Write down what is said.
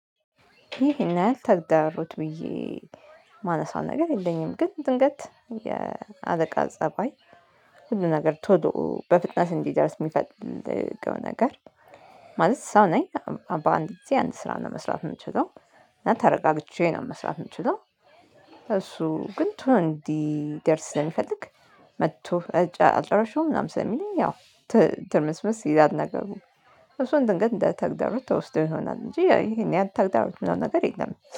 ይሄን ያህል ተግዳሮት ብዬ ማነሳው ነገር የለኝም። ግን ድንገት የአለቃ ፀባይ ሁሉ ነገር ቶሎ በፍጥነት እንዲደርስ ሚፈልገው ነገር ማለት ሰው ነኝ በአንድ ጊዜ አንድ ስራ ነው መስራት የምችለው እና ተረጋግቼ ነው መስራት የምችለው እሱ ግን ቶሎ እንዲደርስ ስለሚፈልግ መጥቶ አልጨረሽውም ምናምን ስለሚለኝ ያው ትርምስምስ ይላል ነገሩ እሱን ድንገት እንደ ተግዳሮት ተወስዶ ይሆናል እንጂ ይሄን ያህል ተግዳሮት ምናምን ነገር የለም